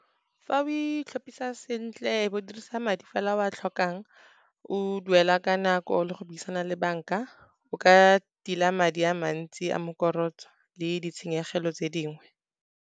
Fa o itlhapisa sentle, o dirisa madi fela o a tlhokang, o duela ka nako le go buisana le banka, o ka tila madi a mantsi a mokorotso le ditshenyegelo tse dingwe.